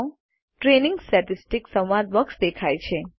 training statistics સંવાદ box દેખાય છે